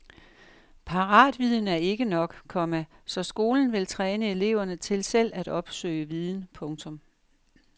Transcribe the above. Paratviden er ikke nok, komma så skolen vil træne eleverne til selv at opsøge viden. punktum